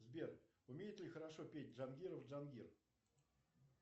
сбер умеет ли хорошо петь джангиров джангир